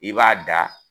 I b'a da